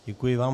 Děkuji vám.